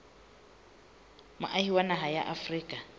moahi wa naha ya afrika